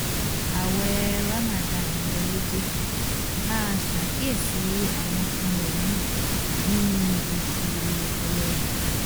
ààwẹ̀ ramadan wọlé dé máa ṣàkíyèsí àwọn nǹkan wọ̀nyí nínú oṣù ọlọ́rẹ